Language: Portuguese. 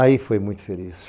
Aí foi muito feliz.